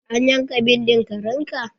An yanka bindin karen ka?